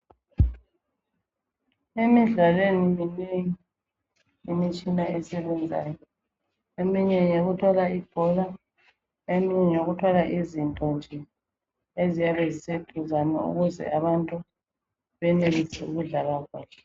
Emidlalweni minengi imitshina esebenzayo. Eminye ngeyokuthwala ibhola eminye ngeyokuthwala izinto nje eziyabe ziseduzane ukuze abantu benelise ukudlala kahle.